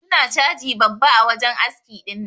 Su na caji babba a wajen aski dinnan.